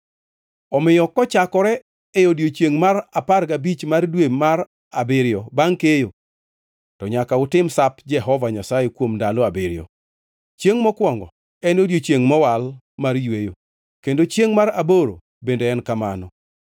“ ‘Omiyo kochakore e odiechiengʼ mar apar gabich mar dwe mar abiriyo bangʼ keyo to nyaka utim Sap Jehova Nyasaye kuom ndalo abiriyo. Chiengʼ mokwongo en odiechiengʼ mowal mar yweyo, kendo chiengʼ mar aboro bende en kamano.